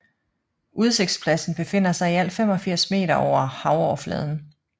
Udsigtspladsen befinder sig i alt 85 meter over havoverfladen